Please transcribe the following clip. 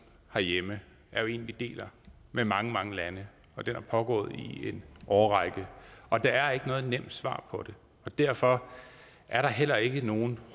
herhjemme er jo en vi deler med mange mange lande den er pågået i en årrække og der er ikke noget nemt svar på det derfor er der heller ikke nogen